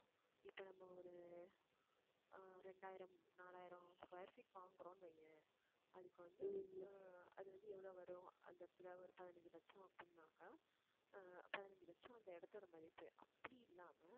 இப்ப நம்ம ஒரு ஆஹ் ரெண்டாயிரம், நாலாயிரம் square feet வாங்குறோம்னு வையேன் அதுக்கு வந்து ஆஹ் அது வந்து எவ்வளவு வரும் அந்த இடத்துல ஒரு பதினைந்து லட்சம் அப்படின்னாங்க ஆஹ் பதினஞ்சு லட்சம் அந்த இடத்தோட மதிப்பு அப்படி இல்லாம